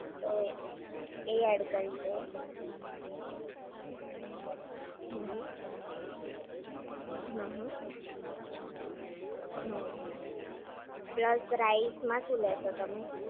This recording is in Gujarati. તો એ એડ કરી દે હમ્મ હમ્મ, હમ્મ હમ્મ, હમ્મ પ્લસ રાઈસ માં શું લેશે તમે?